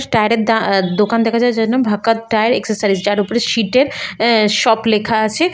Tyre -এর দা দোকান দেখা যায় ভকত টায়ার এক্সেসরিজ । যার উপরে সীট -এর শপ লেখা আছে ।